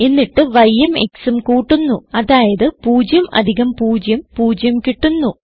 എന്നിട്ട് yഉം xഉം കൂട്ടുന്നു അതായത് 0 അധികം 0 0 കിട്ടുന്നു